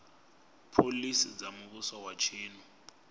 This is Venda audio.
phoḽisi dza muvhuso wa tshino